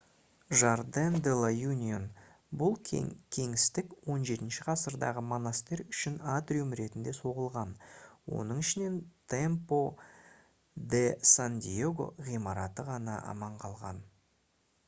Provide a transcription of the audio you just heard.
jardín de la unión. бұл кеңістік 17-ші ғасырдағы монастырь үшін атриум ретінде соғылған оның ішінен templo de san diego ғимараты ғана аман қалған